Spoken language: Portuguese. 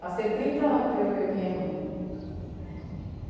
trinta ano eu ver a minha irmã.